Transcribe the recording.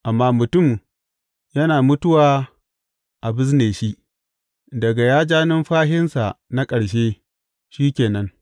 Amma mutum yana mutuwa a bizne shi; daga ya ja numfashinsa na ƙarshe, shi ke nan.